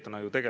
Tänan!